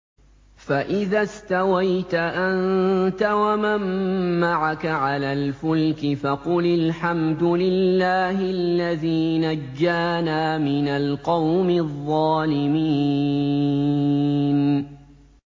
فَإِذَا اسْتَوَيْتَ أَنتَ وَمَن مَّعَكَ عَلَى الْفُلْكِ فَقُلِ الْحَمْدُ لِلَّهِ الَّذِي نَجَّانَا مِنَ الْقَوْمِ الظَّالِمِينَ